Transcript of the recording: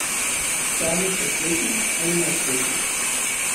Žarnica sveti ali ne sveti.